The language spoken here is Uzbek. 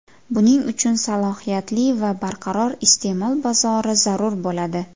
Buning uchun salohiyatli va barqaror iste’mol bozori zarur bo‘ladi.